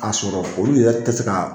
K'a sɔrɔ foliw yɛrɛ ti se ka